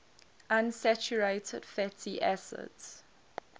unsaturated fatty acids